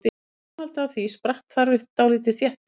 Í framhaldi af því spratt þar upp dálítið þéttbýli.